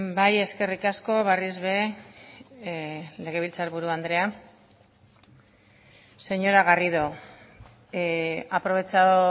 bai eskerrik asko berriz ere legebiltzarburu andrea señora garrido ha aprovechado